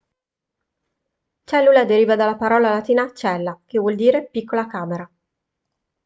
cellula deriva dalla parola latina cella che vuol dire piccola camera